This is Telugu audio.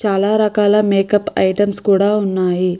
చాలా రకాల మేకప్ ఐటమ్స్ కూడా ఉన్నాయి.